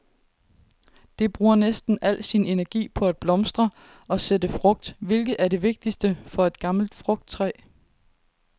Det bruger næsten al sin energi på at blomstre og sætte frugt, hvilket er det vigtigste for et gammelt frugttræ.